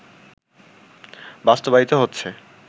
বাস্তবায়িত হচ্ছে